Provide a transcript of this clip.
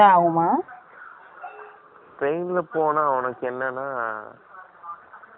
Train ல போனா, உனக்கு என்னன்னா,